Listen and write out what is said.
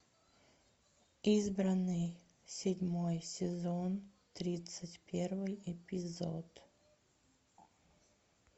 избранный седьмой сезон тридцать первый эпизод